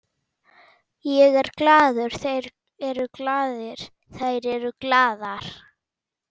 Ég er glaður, þeir eru glaðir, þær eru glaðar.